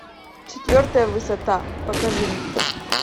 четвертая высота покажи мне